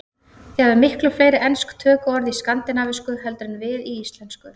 Þið hafið miklu fleiri ensk tökuorð í skandinavísku heldur en við í íslensku.